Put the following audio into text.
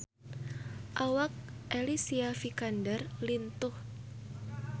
Awak Alicia Vikander lintuh